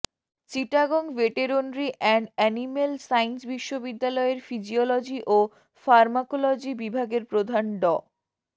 Chittagong veterinary and animal science বিশ্ববিদ্যালয়ের physiology ও pharmacology বিভাগের প্রধান ড